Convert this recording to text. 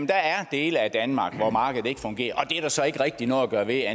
der er dele af danmark hvor markedet ikke fungerer og er der så ikke rigtig noget at gøre ved